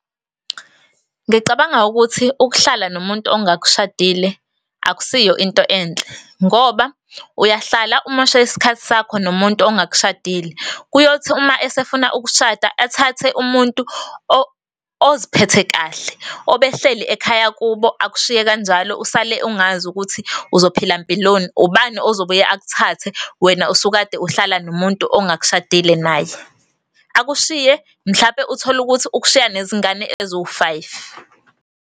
Ngicabanga ukuthi ukuhlala nomuntu ongakushadile akusiyo into enhle ngoba uyahlala umoshe isikhathi sakho nomuntu ongakshadile. Kuyothi uma esefuna ukushada athathe umuntu oziphethe kahle, obehleli ekhaya kubo, akushiye kanjalo usale ungazi ukuthi uzophila mpiloni. Ubani ozobuye akuthathe wena usukade uhlala nomuntu ongakushadile naye. Akushiye, mhlampe utholukuthi ukushiya nezingane eziwu-five.